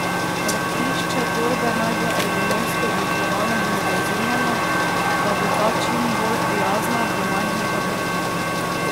Hrbtišče torbe naj bo ergonomsko oblikovano in oblazinjeno, da bo ta čim bolj prijazna do majhnega hrbta.